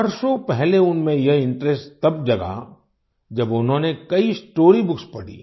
वर्षों पहले उनमें यह इंटरेस्ट तब जगा जब उन्होंने कई स्टोरी बुक्स पढ़ी